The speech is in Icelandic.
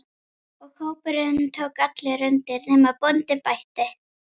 Og hópurinn tók allur undir: nema bóndinn bætti.